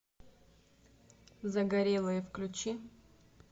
загорелые включи